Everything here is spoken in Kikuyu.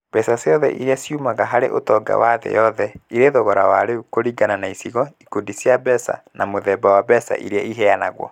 Mbeca ciothe iria ciumaga harĩ ũtonga wa thĩ yothe irĩ thogora wa rĩu kũringana na icigo, ikundi cia mbeca, na mũthemba wa mbeca iria iheanagwo